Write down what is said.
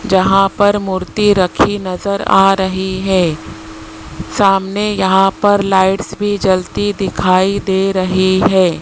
जहां पर मूर्ति रखी नजर आ रही है सामने यहां पर लाइट्स भी जलती दिखाई दे रही है।